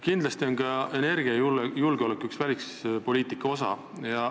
Kindlasti on ka energiajulgeolek üks välispoliitika osi.